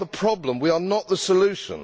We are the problem and not the solution.